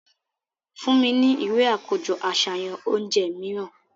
Fun mi ni iwe akojọ aṣayan ounjẹ miiran!